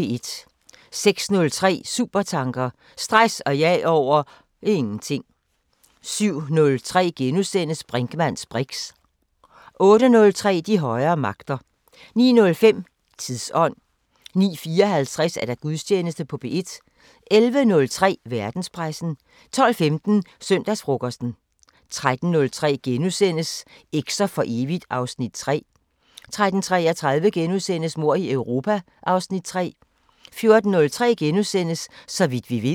06:03: Supertanker: Stress og jag over ... ingenting 07:03: Brinkmanns briks * 08:03: De højere magter 09:05: Tidsånd 09:54: Gudstjeneste på P1 11:03: Verdenspressen 12:15: Søndagsfrokosten 13:03: Eks'er for evigt (Afs. 3)* 13:33: Mord i Europa (Afs. 3)* 14:03: Så vidt vi ved *